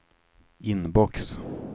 inbox